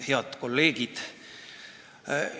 Head kolleegid!